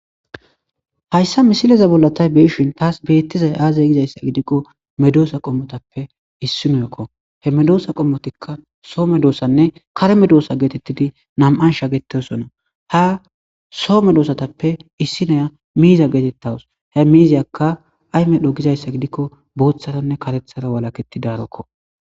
hayssa misileza bollatay beeshin taas beettizay aazay gizayssa gidikko medoosa qommotappe issi noykko he medoosa qommotikka soome doosanne kareme doosa geetettidi nam7an shagetesona ha soome doosatappe issinoya miiza geetettawus he miizayakka ayme dhogizayssa gidikko bootharanne karethara walaketti daarokko